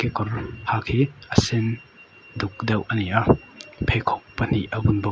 kawr rawng hak hi a sen duk deuh a ni a pheikhawk pahnih a bun bawk.